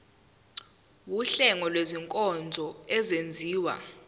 wuhlengo lwezinkonzo ezenziwa